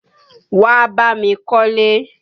Wá bá mi kọ́lé!